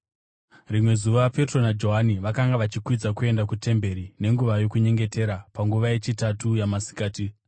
Rimwe zuva Petro naJohani vakanga vachikwidza kuenda kutemberi nenguva yokunyengetera, panguva yechitatu yamasikati.